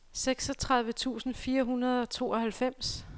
seksogtredive tusind fire hundrede og tooghalvfems